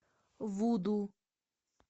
вуду